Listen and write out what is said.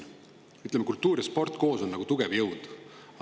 Ütleme, kultuur ja sport koos on tugev jõud.